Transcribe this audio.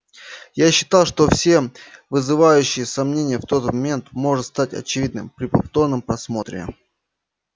я считал что все вызывающие сомнения в тот момент может стать очевидным при повторном просмотре